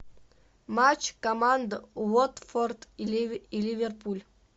матч команда уотфорд и ливерпуль